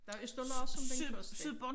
Der Østerlars som den første